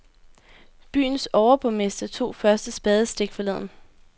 Byens overborgmester tog første spadestik forleden.